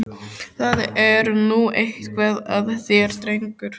Það er nú eitthvað að þér, drengur!